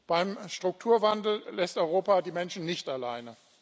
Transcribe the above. Beim Strukturwandel lässt Europa die Menschen nicht allein.